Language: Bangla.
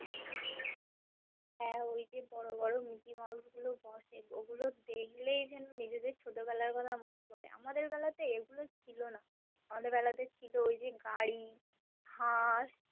হ্যা ওইযে বরো বরো mickey mouse গুলো বসে ওগুলো দেখলেই জেনো নিজেদের ছোট বেলার কথা মনে পরে আমাদের বেলায় তো এগুলো ছিল না। আমাদের বেলাতে ছিল ওই যে গাড়ী, হাস